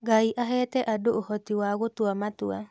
Ngai aheete andũ ũhoti wa gũtua matua